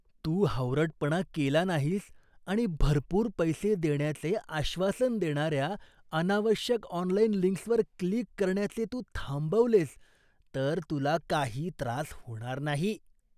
तू हावरटपणा केला नाहीस आणि भरपूर पैसे देण्याचे आश्वासन देणाऱ्या अनावश्यक ऑनलाइन लिंक्सवर क्लिक करण्याचे तू थांबवलेस तर तुला काही त्रास होणार नाही.